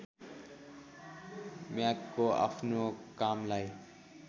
म्यागको आफ्नो कामलाई